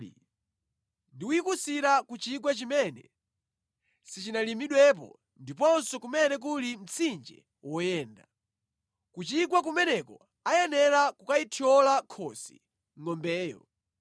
ndi kuyikusira ku chigwa chimene sichinalimidwepo ndiponso kumene kuli mtsinje woyenda. Ku chigwa kumeneko ayenera kukayithyola khosi ngʼombeyo.